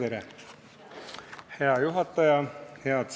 Tere-tere, hea juhataja!